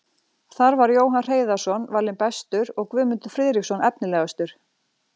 Þar var Jóhann Hreiðarsson valinn bestur og Guðmundur Friðriksson efnilegastur.